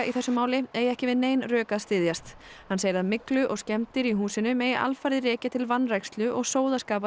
í þessu máli eigi ekki við nein rök að styðjast hann segir að myglu og skemmdir í húsinu megi alfarið rekja til vanrækslu og sóðaskapar